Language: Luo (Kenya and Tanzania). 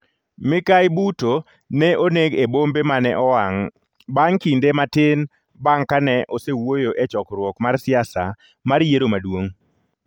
mikayi Bhutto ne oneg e bombe mane owang' bang' kinde matin bang' ka osewuoyo e chokruok mar siasa mar yiero maduong'.